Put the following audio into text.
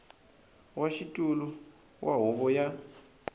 wa xitulu wa huvo ya